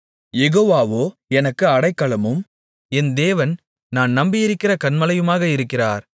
யெகோவாவோ எனக்கு அடைக்கலமும் என் தேவன் நான் நம்பியிருக்கிற கன்மலையுமாக இருக்கிறார்